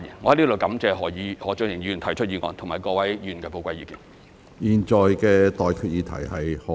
我在此感謝何俊賢議員提出議案和各位議員提出寶貴意見。